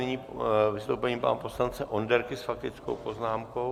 Nyní vystoupení pana poslance Onderky s faktickou poznámkou.